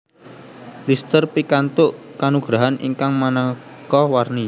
Lister pikantuk kanugrahan ingkang maneka warni